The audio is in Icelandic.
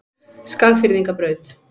Skagfirðingabraut